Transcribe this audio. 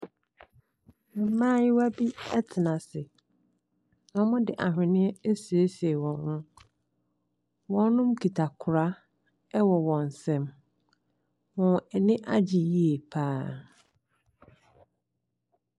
Mmaayewa bi tena ase, wɔde aweneɛ asiesie wɔn ho, wɔkita kora wɔ wɔn nsamu. Wɔn ani agye yie pa ara.